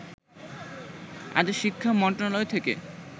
আজ শিক্ষা মন্ত্রণালয় থেকে